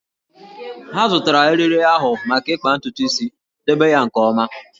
Ha zụtara eriri ahụ maka ịkpa ntutu isi, debe ya nke ọma!